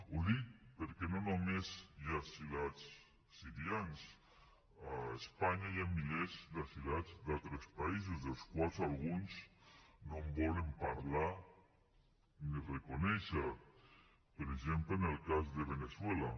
ho dic perquè no només hi ha asilats sirians a espanya hi ha milers d’asilats d’altres països dels quals alguns no volen parlar ni reconèixer los per exemple en el cas de veneçuela